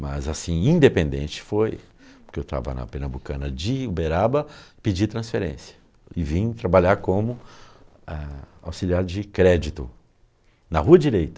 Mas assim, independente foi, porque eu estava na Pernambucana de Uberaba, pedi transferência e vim trabalhar como ãh auxiliar de crédito na rua direita.